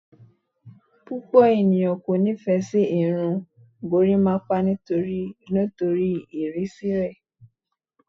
Pupọ eniyan ko nifẹ si irun gorimapa nitori irisi rẹ